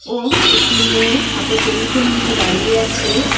ও একটি মেয়ে হাতে টেলিফোন নিয়ে দাঁড়িয়ে আছে।